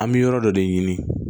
An bɛ yɔrɔ dɔ de ɲini